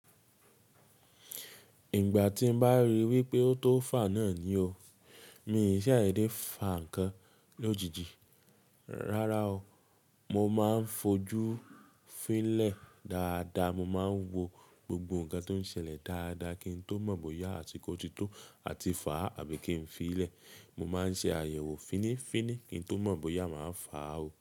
Ìgbà tí mo bá rí wípé ó tóo fà náà ni o. Mi ò kin n ṣàdédé fà ǹkan lójijì. Rárá o, mo máa ń fojú fín lẹ̀ dáadáa, mo máa ń wo gbogbo ǹkan tó ń ṣẹlẹ̀ dáadáa kí n tó mọ̀ bóyá àsìkò ti tó àti fà àbí kí n fiì lẹ̀. Mo máa ń ṣe àyẹ̀wò fínìfínì kí n tó mọ̀ bóyá màá fà o.